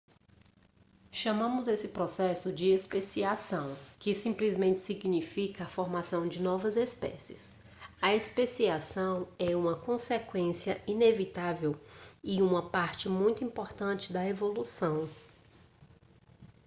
chamamos esse processo de especiação que simplesmente significa a formação de novas espécies a especiação é uma consequência inevitável e uma parte muito importante da evolução